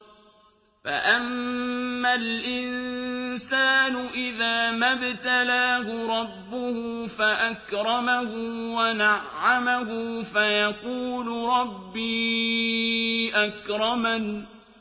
فَأَمَّا الْإِنسَانُ إِذَا مَا ابْتَلَاهُ رَبُّهُ فَأَكْرَمَهُ وَنَعَّمَهُ فَيَقُولُ رَبِّي أَكْرَمَنِ